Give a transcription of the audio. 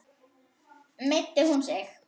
Meiddi hún sig?